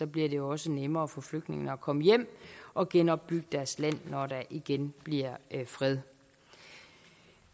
bliver det også nemmere for flygtningene at komme hjem og genopbygge deres land når der igen bliver fred